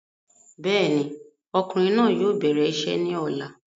Bẹ́ẹ̀ni, ọkùnrin náà yóò bẹ̀rẹ̀ isẹ́ ní ọ̀la